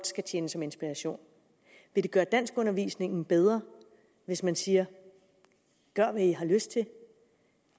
skal tjene som inspiration vil det gøre danskundervisningen bedre hvis man siger gør hvad i har lyst til